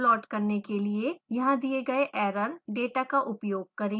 plot करने के लिए यहाँ दिए गए एरर डेटा का उपयोग करें